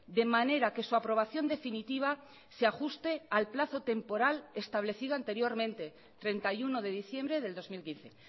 de manera que su aprobación definitiva se ajuste al plazo temporal establecido anteriormente treinta y uno de diciembre del dos mil quince